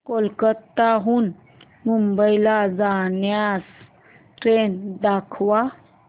कोलकाता हून मुंबई ला जाणार्या ट्रेन दाखवा